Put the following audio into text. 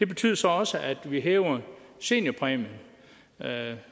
betyder så også at vi hæver seniorpræmien